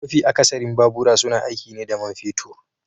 MAfi akasarin babura suna aiki ne da man fetur